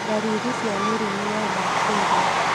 Ndariri cia mĩrimũ ya bakteria